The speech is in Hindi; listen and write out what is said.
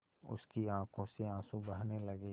उसकी आँखों से आँसू बहने लगे